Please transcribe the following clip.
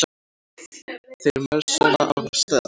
Þeir marsera af stað.